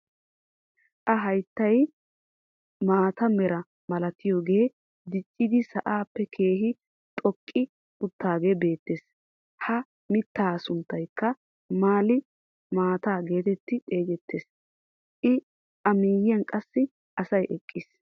A hayttay mata meraa malatiyoogee diiccidi sa'aappe keehi xoqqi uttagee beettees. ha mittaa sunttaykka maali maataa geetetti xeegettees. a miyiyaan qassi asay eqqiis.